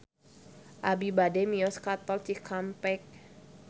Abi bade mios ka Tol Cikampek